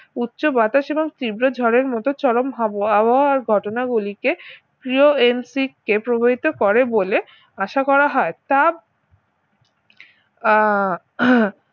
উচ্চ বাতাস এবং তীব্র ঝড়ের মত চরম হাব~ আবহাওয়ার ঘটনাগুলিকে কে প্রবাহিত করে বলে আশা করা হয় তা আহ